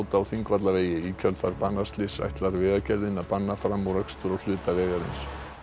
á Þingvallavegi í kjölfar banaslyss ætlar Vegagerðin að banna framúrakstur á hluta vegarins